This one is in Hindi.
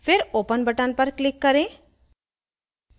फिर open button पर click करें